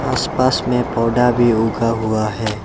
आस पास में पौधा भी उगा हुआ है।